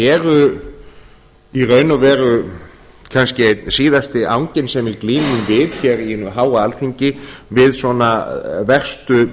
eru í raun og veru kannski einn síðasti anginn sem við glímum við hér í hinu háa alþingi við svona verstu